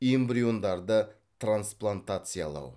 эмбриондарды трансплантациялау